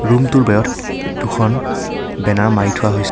Room টোৰ বেৰত এ এ দুখন বেনাৰ মাৰি থোৱা হৈছে।